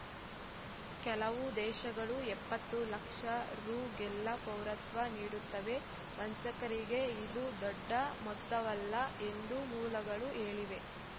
ಕೆಲವು ದೇಶಗಳು ಎಪ್ಪತ್ತು ಲಕ್ಷ ರುಗೆಲ್ಲಾ ಪೌರತ್ವ ನೀಡುತ್ತವೆ ವಂಚಕರಿಗೆ ಇದು ದೊಡ್ಡ ಮೊತ್ತವಲ್ಲ ಎಂದು ಮೂಲಗಳು ಹೇಳಿವೆ